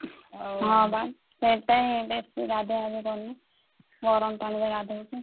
ହଁ ବା ସେଇଥିପାଇଁ ବେଶୀ ଗାଧୁଆ ଗାଧି କରୁନି ଗରମ ପାଣିରେ ଗାଧଉଛି।